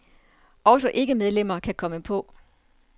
Også ikke-medlemmer kan komme på.